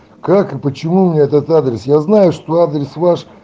как и почему мне этот адрес я знаю что адрес ваш